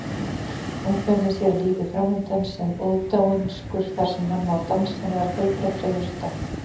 Ungmennið sér lífið framundan sem ódáinsakur þar sem hann má dansa meðal fjölbreyttra jurta.